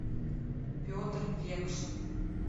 петр векшин